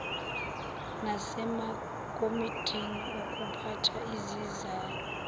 nasemakomitini okuphatha izizalo